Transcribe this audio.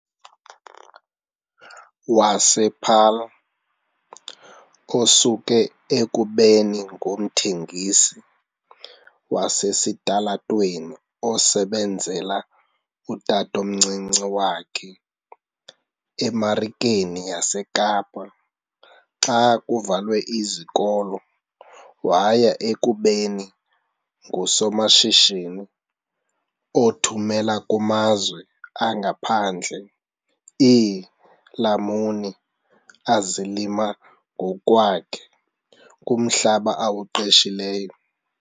wasePaarl, osuke ekubeni ngumthengisi wasesitalatweni osebenzela utatomncinci wakhe eMarikeni yaseKapa xa kuvalwe izikolo waya ekubeni ngusomashishini othumela kumazwe angaphandle iilamuni azilima ngokwakhe kumhlaba awuqeshileyo.